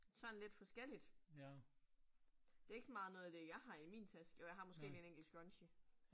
Sådan lidt forskelligt. Det ikke så meget noget af det, jeg har i min taske. Jo, jeg har måske 1 enkelt scrunchie